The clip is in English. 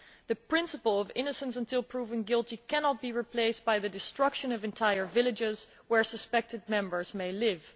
The principle of innocent until proven guilty' cannot be replaced by the destruction of entire villages where suspected members may live.